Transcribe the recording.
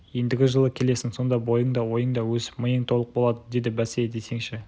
ендігі жылы келесің сонда бойың да ойың да өсіп миың толық болады деді бәсе десеңші